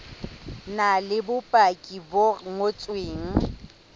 na le bopaki bo ngotsweng